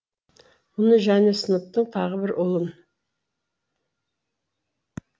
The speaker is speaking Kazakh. мұны және сыныптың тағы бір ұлын